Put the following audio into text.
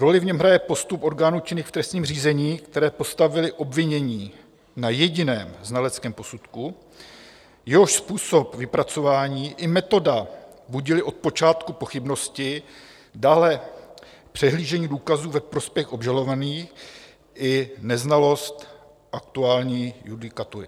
Roli v něm hraje postup orgánů činných v trestním řízení, které postavily obvinění na jediném znaleckém posudku, jehož způsob vypracování i metoda budily od počátku pochybnosti, dále přehlížení důkazů ve prospěch obžalovaných i neznalost aktuální judikatury.